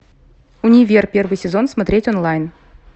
универ первый сезон смотреть онлайн